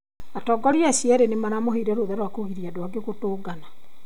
Atongoria acio erũ nĩ maramũheire rũtha rwa kũgirĩrĩria andũ aingĩ kũtongana.